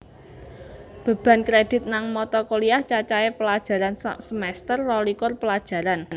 Beban Kredit nang Mata Kuliah Cacahe pelajaran sasemester rolikur pelajaran